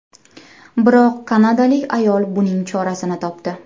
Biroq kanadalik ayol buning chorasini topdi .